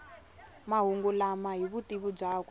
mahungu lama hi vutivi byakwe